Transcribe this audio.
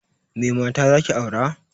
Me mata zaki aura?